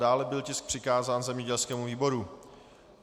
Dále byl tisk přikázán zemědělskému výboru.